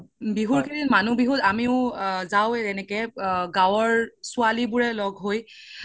বিহুৰ কেইদিন মানুহ বিহুত আমিও যাওয়ে এনেকে গাওৰ ছোৱালি বোৰে লগ হৈ